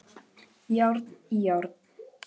Járn í járn